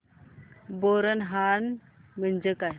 बोरनहाण म्हणजे काय